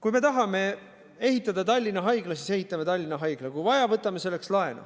Kui me tahame ehitada Tallinna Haigla, siis ehitame Tallinna Haigla, ja kui vaja, võtame selleks laenu.